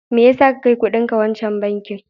Me ya sa ka kai kudinka wancan bankin?